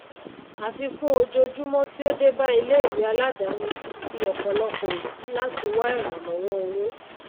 àfikún ojojúmó tí ó débá ilé ìwé aládáni ti ti òpọlòpò òbí láti wá ìrànlówó owó